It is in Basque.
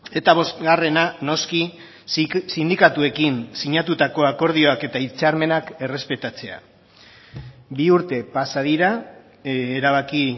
eta bosgarrena noski sindikatuekin sinatutako akordioak eta hitzarmenak errespetatzea bi urte pasa dira erabaki